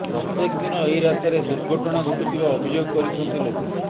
ପ୍ରତ୍ୟେକ ଦିନ ଏହି ରାସ୍ତାରେ ଦୁର୍ଘଟଣା ଘଟୁଥବା ଅଭିଯୋଗ କରିଛନ୍ତି ଲୋକେ